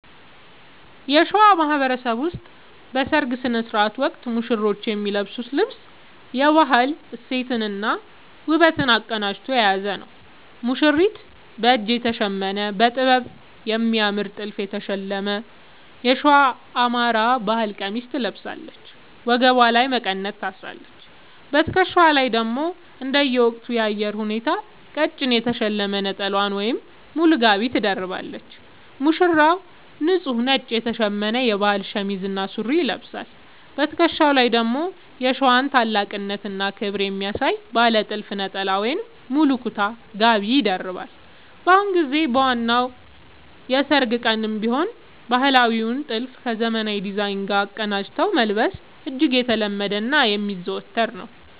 በሸዋ ማህበረሰብ ውስጥ በሠርግ ሥነ ሥርዓት ወቅት ሙሽሮች የሚለብሱት ልብስ የባህል እሴትንና ውበትን አቀናጅቶ የያዘ ነው፦ ሙሽሪት፦ በእጅ የተሸመነ: በጥበብና በሚያምር ጥልፍ የተሸለመ የሸዋ (የአማራ) ባህል ቀሚስ ትለብሳለች። ወገቧ ላይ መቀነት ታስራለች: በትከሻዋ ላይ ደግሞ እንደየወቅቱ የአየር ሁኔታ ቀጭን የተሸለመ ነጠላ ወይም ሙሉ ጋቢ ትደርባለች። ሙሽራው፦ ንጹህ ነጭ የተሸመነ የባህል ሸሚዝ እና ሱሪ ይለብሳል። በትከሻው ላይ ደግሞ የሸዋን ታላቅነትና ክብር የሚያሳይ ባለ ጥልፍ ነጠላ ወይም ሙሉ ኩታ (ጋቢ) ይደርባል። በአሁኑ ጊዜ በዋናው የሠርግ ቀንም ቢሆን ባህላዊውን ጥልፍ ከዘመናዊ ዲዛይን ጋር አቀናጅቶ መልበስ እጅግ የተለመደና የሚዘወተር ነው።